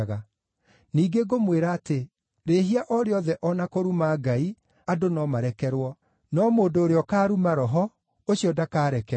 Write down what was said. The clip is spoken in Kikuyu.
Ningĩ ngũmwĩra atĩ, rĩĩhia o rĩothe o na kũruma Ngai, andũ no marekerwo, no mũndũ ũrĩa ũkaaruma Roho, ũcio ndakarekerwo.